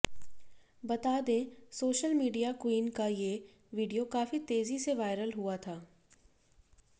बता दें social media queen का ये वीडियो काफी तेज़ी से वायरल हुआ था